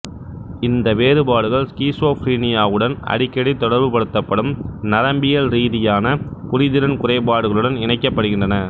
இந்த வேறுபாடுகள் ஸ்கிசோஃப்ரினியாவுடன் அடிக்கடி தொடர்பு படுத்தப்படும் நரம்பியல் ரீதியான புரிதிறன் குறைபாடுகளுடன் இணைக்கப்படுகின்றன